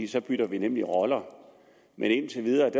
så bytter vi nemlig roller men indtil videre